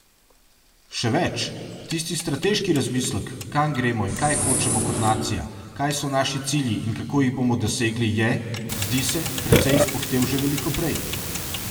Še več, tisti strateški razmislek, kam gremo in kaj hočemo kot nacija, kaj so naši cilji in kako jih bomo dosegli, je, zdi se, precej izpuhtel že veliko prej.